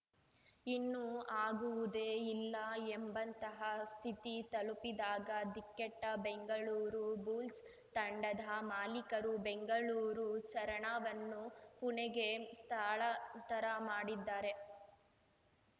ಇನ್ನು ಆಗುವುದೇ ಇಲ್ಲ ಎಂಬಂತಹ ಸ್ಥಿತಿ ತಲುಪಿದಾಗ ದಿಕ್ಕೆಟ್ಟಬೆಂಗಳೂರು ಬುಲ್ಸ್‌ ತಂಡದ ಮಾಲಿಕರು ಬೆಂಗಳೂರು ಚರಣವನ್ನು ಪುಣೆಗೆ ಸ್ಥಳಾಂತರ ಮಾಡಿದ್ದಾರೆ